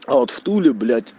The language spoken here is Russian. а вот в туле блять